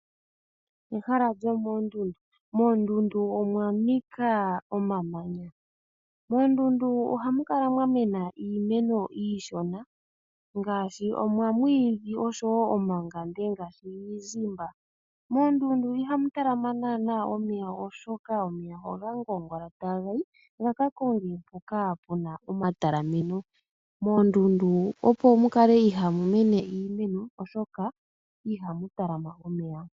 Ehala lyomoondundu. Moondundu omwa nika omamanya. Moondundu ohamu kala mwa mena iimeno iishona ngaashi omamwiidhi noshowo iigwanga ngaashi iizimba. Moondundu ihamu talama naanaa omeya, oshoka omeya oga kuunguluka taga yi ga ka konge hoka ku na omatalameno. Moondundu opo mu kale ihaamu mene iimeno, omolwashoka ihamu talama omeya.